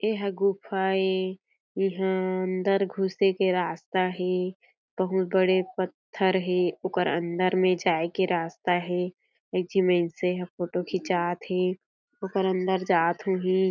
ये ह गुफा ए ये ह अंदर घुसे के रास्ता हें बहुत बड़े पत्थर हें ओकर अंदर में जाए के रास्ता हें एक झी माइनसे ह फोटो खिचात हें ओकर अंदर जात होही।